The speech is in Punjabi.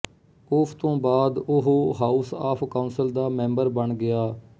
ਉਸ ਤੋਂ ਬਾਅਦ ਉਹ ਹਾਉਸ ਆਫ ਕਾਉਂਸਿਲ ਦਾ ਮੈਬਰ ਬਣ ਗਿਆ